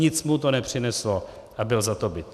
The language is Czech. Nic mu to nepřineslo a byl za to bit.